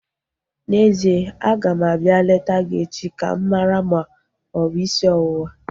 N'ezie, aga m abịa leta gị echi ka m mara ma ọ bụ isi ọwụwa